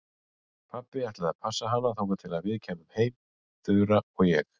Pabbi ætlaði að passa hana þangað til við kæmum heim, Þura og ég.